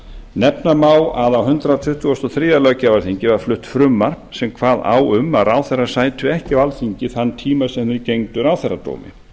nefna má að á hundrað tuttugasta og þriðja löggjafarþingi var flutt frumvarp sem kvað á um að ráðherrar sætu ekki á alþingi þann tíma sem þeir gegndu ráðherradómi